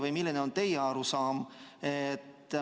Või milline on teie arusaam?